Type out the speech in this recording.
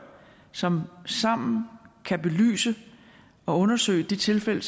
som sammen kan belyse og undersøge de tilfælde